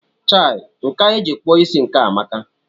Chai! Nkà eji kpụọ isí nke a amaka!